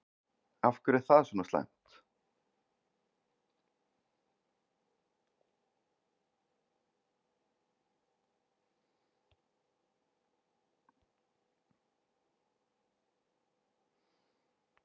Ingólfsfjörð, sem er austanvert á Vestfjörðum.